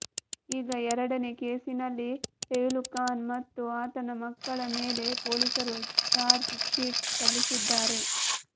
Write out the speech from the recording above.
ಈಗ ಎರಡನೇ ಕೇಸಿನಲ್ಲಿ ಪೆಹ್ಲು ಖಾನ್ ಮತ್ತು ಆತನ ಮಕ್ಕಳ ಮೇಲೆ ಪೊಲೀಸರು ಚಾರ್ಜ್ ಶೀಟ್ ಸಲ್ಲಿಸಿದ್ದಾರೆ